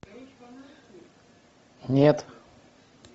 нет